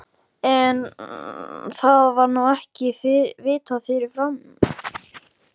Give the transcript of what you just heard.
En, það var nú ekki vitað fyrirfram!